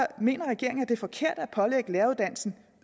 mener regeringen at det er forkert at pålægge læreruddannelsen